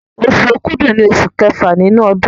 Oṣù Òkúdu ní oṣù kẹfà nínú ọdún